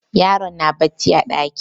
Yaron na bacci a ɗaki.